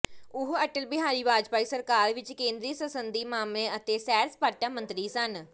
ਉਹ ਅਟਲ ਬਿਹਾਰੀ ਵਾਜਪਾਈ ਸਰਕਾਰ ਵਿੱਚ ਕੇਂਦਰੀ ਸੰਸਦੀ ਮਾਮਲਿਆਂ ਅਤੇ ਸੈਰ ਸਪਾਟਾ ਮੰਤਰੀ ਸਨ